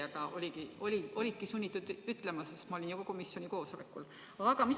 Aga sa olidki sunnitud seda nimetama, sest ma olin ju ka komisjoni istungil.